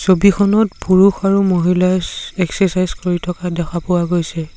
ছবিখনত পুৰুষ আৰু মহিলাই চ এক্সেচাইচ কৰি থকা দেখা পোৱা গৈছে।